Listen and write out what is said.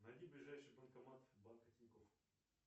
найди ближайший банкомат банка тинькофф